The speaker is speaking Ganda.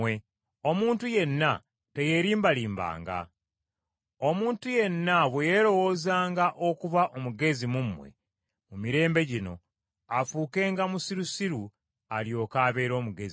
Omuntu yenna teyeerimbalimbanga; omuntu yenna bwe yeerowoozanga okuba omugezi mu mmwe mu mirembe gino afuukenga musirusiru alyoke abeere omugezi.